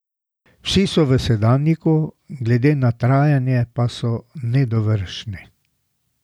Vsi so v sedanjiku, glede na trajanje pa so nedovršni.